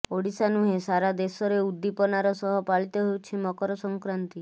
ଓଡ଼ିଶା ନୁହେଁ ସାରା ଦେଶରେ ଉଦ୍ଦିପନାର ସହ ପାଳିତ ହେଉଛି ମକର ସଂକ୍ରାନ୍ତି